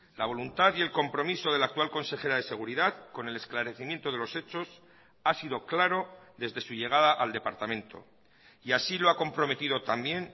la voluntad y el compromiso de la actual consejera de seguridad con el esclarecimiento de los hechos ha sido claro desde su llegada al departamento y así lo ha comprometido también